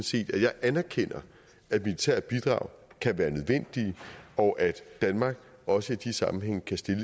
set at jeg anerkender at militære bidrag kan være nødvendige og at danmark også i de sammenhænge kan stille